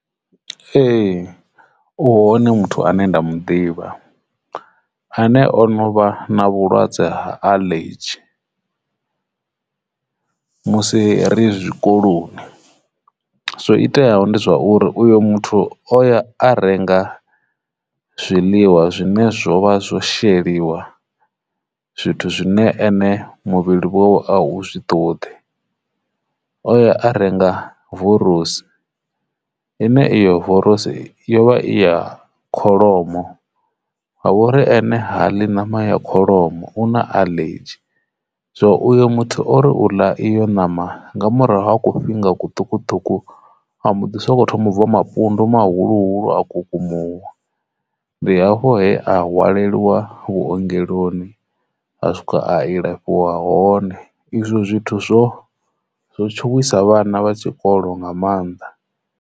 Ee, u hone muthu ane nda muḓivha ane o no vha na vhulwadze ha aḽedzhi musi ri zwikoloni. Zwo iteaho ndi zwauri uyo muthu o ya a renga zwiḽiwa zwine zwo vha zwo sheliwa zwithu zwine ene muvhili vhonwe a zwi ṱoḓi, o ya a renga vorosi ine iyo vorokisi ine iyo vorosi yo vha i ya kholomo ha vhori ane ha ḽi ṋama ya kholomo u na aḽedzhi. So uyo muthu ori u ḽa iyo ṋama nga murahu ha ku fhinga kuṱukuṱuku a mbo ḓi soko thoma u bva mapundu mafulufulu a kukumuwa ndi afho he a hwaliwa vhuongeloni a swika a ilafhiwa hone. Izwo zwithu zwo zwo tshowisa vhana vha tshikolo nga mannḓa.